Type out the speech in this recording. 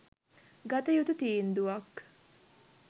ගත යුතු තීන්දුවක්.